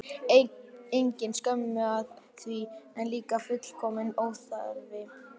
Engin skömm að því, en líka fullkominn óþarfi.